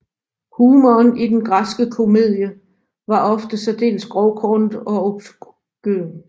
Humoren i den græske komedie var ofte særdeles grovkornet og obskøn